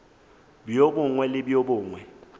bjo bongwe le bjo bongwe